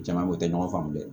Jama o tɛ ɲɔgɔn faamu dɛ